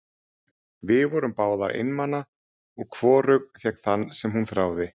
Við vorum báðar einmana og hvorug fékk þann sem hún þráði.